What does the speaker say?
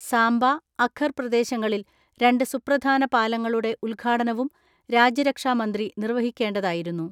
സാംബ, അഖർ പ്രദേശങ്ങളിൽ രണ്ട് സുപ്രധാന പാലങ്ങളുടെ ഉദ്ഘാടനവും രാജ്യരക്ഷാ മന്ത്രി നിർവഹിക്കേണ്ടതായിരുന്നു.